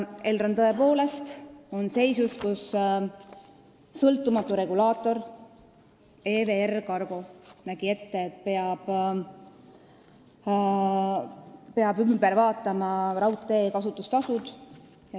Elron on tõepoolest seisus, kus sõltumatu regulaator TJA nägi ette, et peab üle vaatama raudtee kasutustasud.